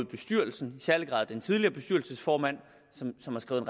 bestyrelsen i særlig grad den tidligere bestyrelsesformand som har skrevet